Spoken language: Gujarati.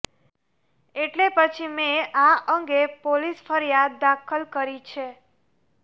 એટલે પછી મેં આ અંગે પોલીસ ફરિયાદ દાખલ કરી છે